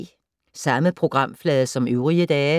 Samme programflade som øvrige dage